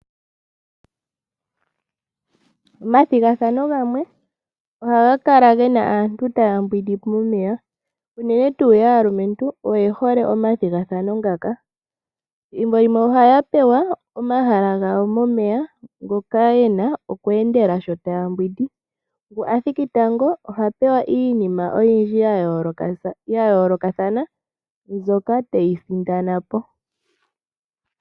Omathigathano gamwe oha ga kala ge na aantu taya mbwindi momeya unene tuu yaalumentu oye hole omathigathano ngaka. Thimbo limwe oha ya pewa omahala gawo momeya ngoka ye na oku endela shi ta ya mbwindi. Ngu a thiki tango oha pewa iinima oyindji ya yoolokathana mbyoka te yi sindana po.